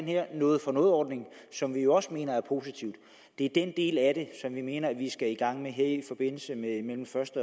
her noget for noget ordning som vi jo også mener er positiv det er den del af det som vi mener vi skal i gang med her mellem første